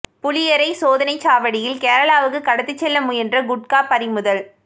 புளியரை சோதனைச் சாவடியில் கேரளாவுக்கு கடத்திச் செல்ல முயன்ற குட்கா பறிமுதல்